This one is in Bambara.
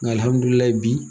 Nga alihamudulilayi bi,